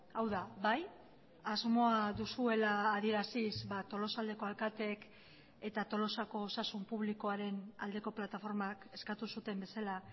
hau da bai asmoa duzuela adieraziz tolosaldeko alkateek eta tolosako osasun publikoaren aldeko plataformak eskatu zuten bezala